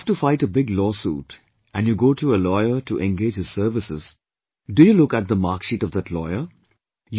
When you have to fight a big law suit and you go to a lawyer to engage his services, do you look at the marksheet of that lawyer